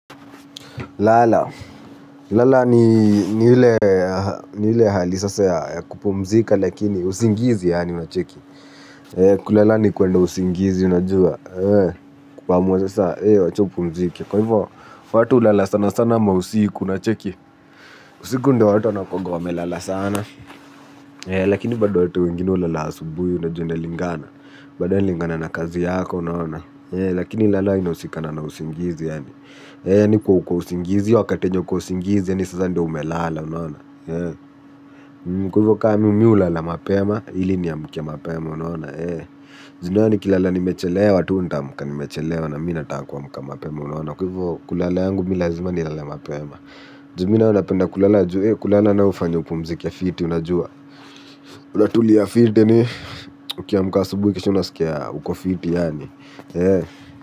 Lala ni ile hali sasa ya kupumzika lakini usingizi yaani unacheki. Kulala ni kwenda usingizi unajua. Kuamuasasa eh acha upumzike. Kwa hivyo watu hulala sana sana ma usiku unacheki usiku ndo watu wanakuwaga wamelala sana. Lakini bado watu wengine ulala asubuhi unajua unalingana. Bado ya lingana na kazi yako unaona. Lakini lala inausika na usingizi yaani ni kwa ukousingizi, wakatiyenye ukousingizi, ni sasa ndo umelala, unaona. Mkuvo ka mimi ulala mapema, ili niamke mapema, unaona. Juu nayo nikilala ni mechelewa, tu nitaamka nimechelewa, na mimi nataka kuamka mapema, unaona. Kwa hivo kulala yangu milazima nilale mapema. Juuminayo napenda kulala juu, kulala nayo ufanya upumzike fiti, unajua. Kulatu ni ya fiti ni, ukiamka asubuhi, kisha unasikia ukofiti yaani.